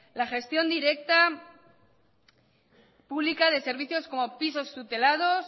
la gestión directa pública de servicios como pisos tutelados